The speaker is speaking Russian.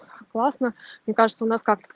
классно мне кажется у нас как